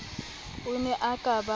o ne o ka ba